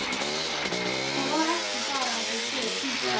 Það er ekki bara að þau séu tvíburar.